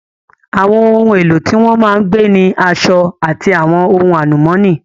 Àwọn ohun èlò tí wọ́n máa ń gbé ni aṣọ, àti àwọn ohun àlùmọ́nì